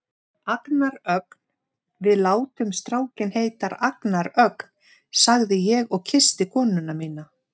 Agnar Ögn, við látum strákinn heita Agnar Ögn, sagði ég og kyssti konuna mína.